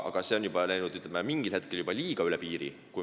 Aga see on läinud, ütleme, mingil hetkel juba üle piiri.